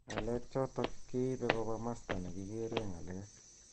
Ng'alek chotok keibe koba masta nikikere ng'alek.